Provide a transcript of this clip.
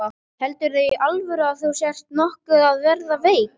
Heldurðu í alvöru að þú sért nokkuð að verða veik.